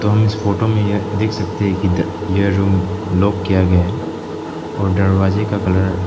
हम इस फोटो में यह देख सकते हैं कि यह रूम लॉक किया गया है और दरवाजे का कलर --